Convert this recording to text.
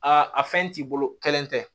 Aa a fɛn t'i bolo kelen tɛ